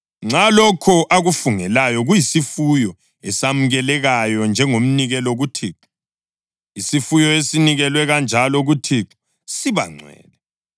Nxa lokho akufungelayo kuyisifuyo esamukelekayo njengomnikelo kuThixo, isifuyo esinikelwe kanjalo kuThixo siba ngcwele.